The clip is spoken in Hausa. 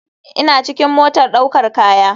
ina cikin motar daukar kaya